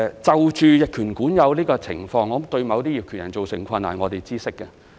就逆權管有的情況對於某些業權人造成困難，我們是知悉的。